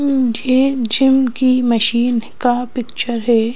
ये जिम की मशीन का पिक्चर है।